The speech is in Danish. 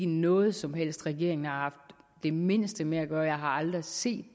noget som regeringen har haft det mindste med at gøre jeg har aldrig set